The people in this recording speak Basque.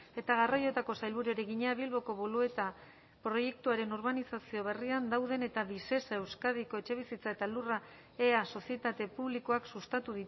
eta garraioetako sailburuari egina bilboko bolueta proiektuaren urbanizazio berrian dauden eta visesa euskadiko etxebizitza eta lurra ea sozietate publikoak sustatu